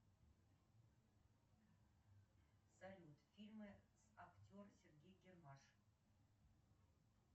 салют фильмы с актер сергей гармаш